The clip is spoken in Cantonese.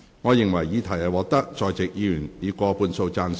我認為議題獲得在席議員以過半數贊成。